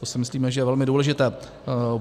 To si myslíme, že je velmi důležité.